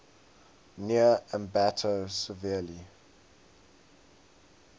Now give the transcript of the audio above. near ambato severely